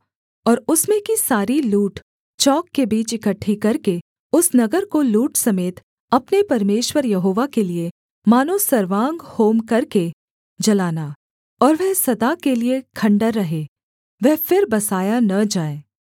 और उसमें की सारी लूट चौक के बीच इकट्ठी करके उस नगर को लूट समेत अपने परमेश्वर यहोवा के लिये मानो सर्वांग होम करके जलाना और वह सदा के लिये खण्डहर रहे वह फिर बसाया न जाए